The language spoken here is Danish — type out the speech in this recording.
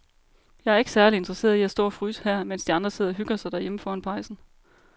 Jeg er ikke særlig interesseret i at stå og fryse her, mens de andre sidder og hygger sig derhjemme foran pejsen.